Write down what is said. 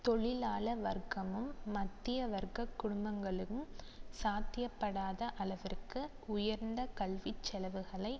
தொழிலாள வர்க்கமும் மத்திய வர்க்க குடும்பங்களும் சாத்தியப்படாத அளவிற்கு உயர்ந்த கல்விச்செலவுகளை